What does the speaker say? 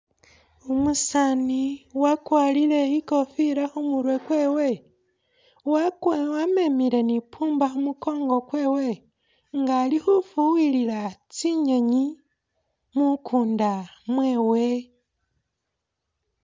Umusani wakwarile ikofila kumurwe kwewe wamemile ni pumba kumukongo kwewe nga ali khufuwilila tsinyenyi mukunda mwewe